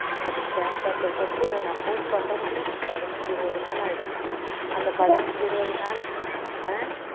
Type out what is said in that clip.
அதை stamp paper ஒட்டி அதை நான் post பண்றது குள்ள எனக்கு பதன் ஐந்து இருபது நாள் ஆகிடும் அந்த பதன் ஐந்தி இருபது நாள் ஆஹ்